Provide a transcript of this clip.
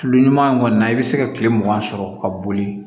Tulu ɲuman in kɔni na i bɛ se ka kile mugan sɔrɔ ka boli